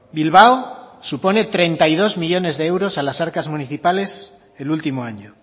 bilbao supone treinta y dos millónes de euros a las arcas municipales el último año